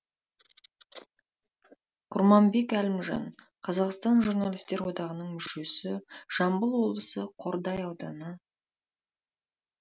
құрманбек әлімжан қазақстан журналистер одағының мүшесіжамбыл облысы қордай ауданы